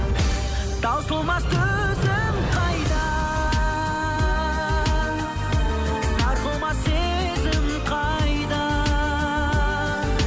таусылмас төзім қайда сарқылмас сезім қайда